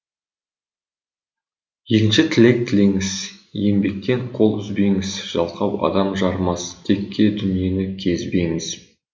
екінші тілек тілеңіз еңбектен қол үзбеңіз жалқау адам жарымас текке дүниені кезбеңіз